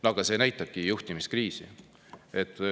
No aga see näitabki juhtimiskriisi.